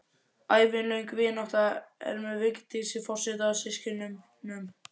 Ævilöng vinátta er með Vigdísi forseta og systkinunum